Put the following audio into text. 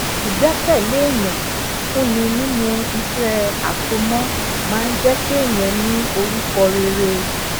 ìgbékèlé èyàn fun ni nínú iṣé àsomọ máa ń jé kéèyàn ní orúkọ rere